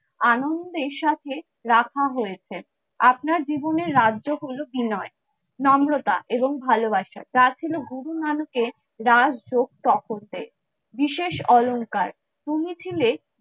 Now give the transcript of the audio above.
আনন্দের সাথে রাখা হয়েছে আপনার জীবনে রাজ্য গুলো কি নয়। নম্রতা এবং ভালোবাসা, তা ছিল হবু নানকের রাজযোগ বিশেষ অলংকার উনি ছিলেন,